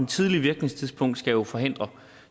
tidlige virkningstidspunkt skal jo forhindre